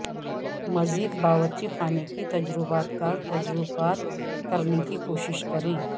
مزید باورچی خانے کے تجربہ کار تجربات کرنے کی کوشش کریں